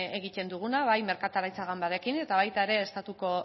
egiten duguna bai merkataritza ganbararekin eta baita ere estatuko